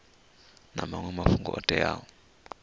na maṅwe mafhungo o teaho